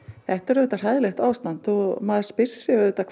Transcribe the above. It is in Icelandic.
þetta er auðvitað hræðilegt ástand og maður spyr sig auðvitað